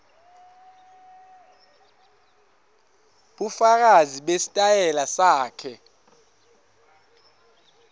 bufakazi besitayela sakhe